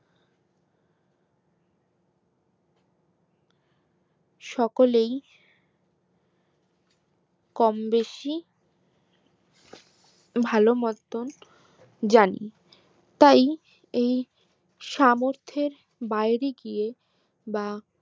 সকলেই কমবেশি ভালো মতন জানি তাই এই সামর্থের বাইরে গিয়ে বা